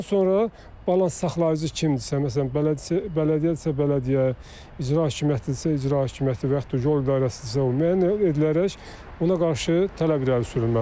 Bundan sonra balans saxlayıcı kimdirsə, məsələn bələdiyyədisə bələdiyyə, İcra hakimiyyətidirsə icra hakimiyyəti və yaxud da yol idarəsidirsə o müəyyən edilərək ona qarşı tələb irəli sürülməlidir.